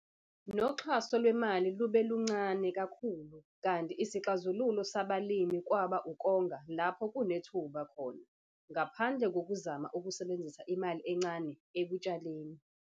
Noxhaso lwemali lube luluncane kakhulu kanti isixazululo sabalimi kwaba ukonga lapho kunethuba khona ngaphandle kokuzama ukusebenzisa imali encane ekutshaleni.